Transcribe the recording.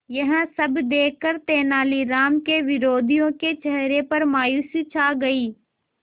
यह सब देखकर तेनालीराम के विरोधियों के चेहरे पर मायूसी छा गई